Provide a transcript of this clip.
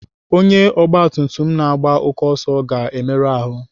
Onye ọgbatumtum na-agba oké ọsọ ga-emerụ ahụ.